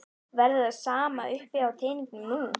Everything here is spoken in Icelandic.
Verður það sama uppi á teningnum nú?